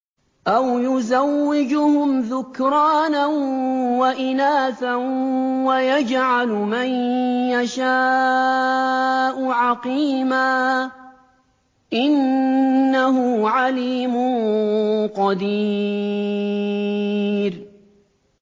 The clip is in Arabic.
أَوْ يُزَوِّجُهُمْ ذُكْرَانًا وَإِنَاثًا ۖ وَيَجْعَلُ مَن يَشَاءُ عَقِيمًا ۚ إِنَّهُ عَلِيمٌ قَدِيرٌ